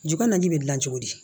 Ju naani bɛ gilan cogo di